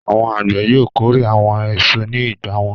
Àwọn àgbẹ̀ yóò kórè àwọn èso ní ìgbà wọn.